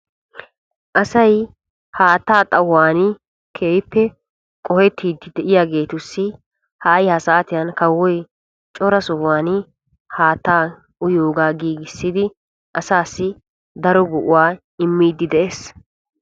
Asay haatta xayuwan keehippe qohettiddi de'iyagettussi hay ha saatiyan kawoy cora sohuwan haatta uyiyooag giigissiddi asaassi daro go'a immidde de'ees.